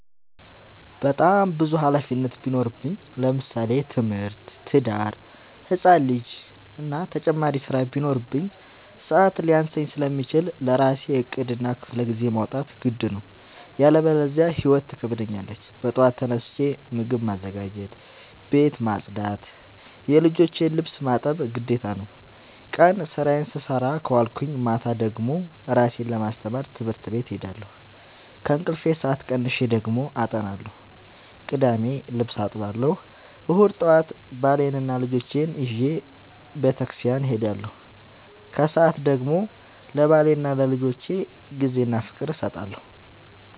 በጣም ብዙ ሀላፊነት ቢኖርብኝ ለምሳሌ፦ ትምህርት፣ ትዳር፣ ህፃን ልጂ እና ተጨማሪ ስራ ቢኖርብኝ። ሰዐት ሊያንሰኝ ስለሚችል ለራሴ ዕቅድ እና ክፍለጊዜ ማውጣት ግድ ነው። ያለበዚያ ህይወት ትከብደኛለች ጠዋት ተነስቼ ምግብ ማዘጋጀት፣ ቤት መፅዳት የልጆቼን ልብስ ማጠብ ግዴታ ነው። ቀን ስራዬን ስሰራ ከዋልኩኝ ማታ ደግሞ እራሴን ለማስተማር ትምህርት ቤት እሄዳለሁ። ከእንቅልፌ ሰአት ቀንሼ ደግሞ አጠናለሁ ቅዳሜ ልብስ አጥባለሁ እሁድ ጠዋት ባሌንና ልጆቼን ይዤ በተስኪያን እሄዳለሁ። ከሰዓት ደግሞ ለባሌና ለልጆቼ ጊዜ እና ፍቅር እሰጣለሁ።